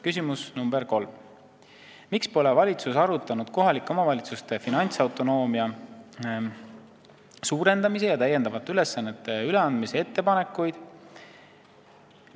Küsimus nr 3: "Miks pole valitsuses arutatud kohalike omavalitsuste finantsautonoomia suurendamise ja täiendavate ülesannete üleandmise ettepanekuid?